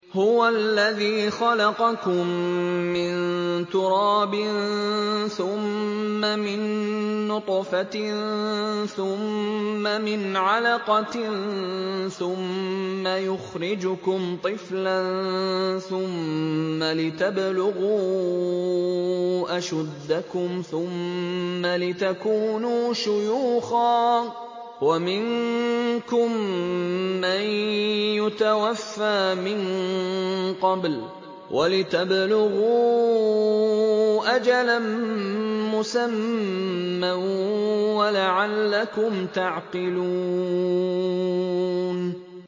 هُوَ الَّذِي خَلَقَكُم مِّن تُرَابٍ ثُمَّ مِن نُّطْفَةٍ ثُمَّ مِنْ عَلَقَةٍ ثُمَّ يُخْرِجُكُمْ طِفْلًا ثُمَّ لِتَبْلُغُوا أَشُدَّكُمْ ثُمَّ لِتَكُونُوا شُيُوخًا ۚ وَمِنكُم مَّن يُتَوَفَّىٰ مِن قَبْلُ ۖ وَلِتَبْلُغُوا أَجَلًا مُّسَمًّى وَلَعَلَّكُمْ تَعْقِلُونَ